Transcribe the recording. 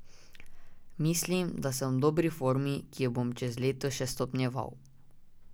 Mislim, da sem v dobri formi, ki jo bom čez leto še stopnjeval.